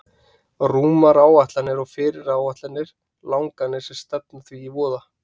Rúmar áætlanir og fyrirætlanir og langanir sem stefna því í voða.